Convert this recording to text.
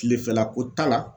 Tilefɛla ko ta la